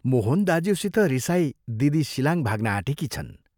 मोहन दाज्यूसित रिसाई दिदी शिलाङ भाग्न आँटेकी छन्।